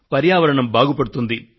పర్యావరణం బాగుపడుతుంది